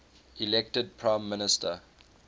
elected prime minister